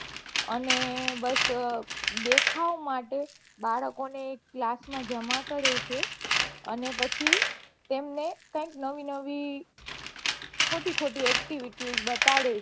અને બસ દેખાવ માટે બાળકો ને class માં જમા કરે છે અને પછી તેમને કઈક નવી નવી ખોટી ખોટી એક activity જ બતાડે